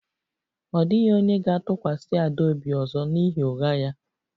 Ọ dịghị onye ga-atụkwasị Ada obi ọzọ n'ihi ụgha ya